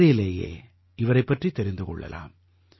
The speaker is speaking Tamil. பெயரிலேயே இவரைப் பற்றித் தெரிந்து கொள்ளலாம்